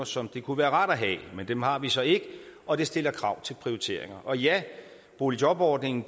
som det kunne være rart at have men dem har vi så ikke og det stiller krav til prioriteringen og ja boligjobordningen